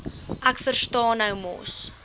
ek verstaan mos